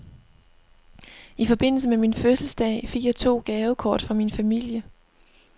I forbindelse med min fødselsdag fik jeg to gavekort fra min familie.